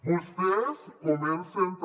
vostès comencen també